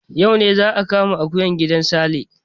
Yau ne za a kama akuya a gidan Sale.